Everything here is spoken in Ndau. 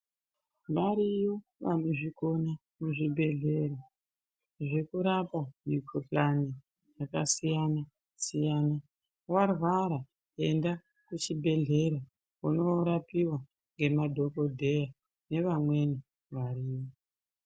Variyo vanozvikona muzvibhehlera zvekurapa mikhuhlani yakasiyana-siyana. Warwara enda kuchibhehlera unoorapiwa ngemadhokodheya nevamweni variyo.